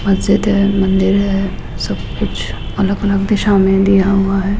मस्जिद है मंदिर है सब कुछ अलग अलग दिशाओ में दिया हुआ है।